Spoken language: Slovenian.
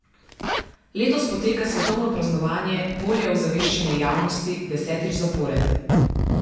Letos poteka svetovno praznovanje, bolje ozaveščanje javnosti, desetič zapored.